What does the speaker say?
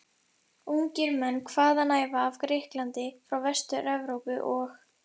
Ungir menn hvaðanæva af Grikklandi, frá Vestur-Evrópu og